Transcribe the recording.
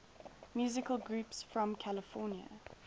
musical groups from california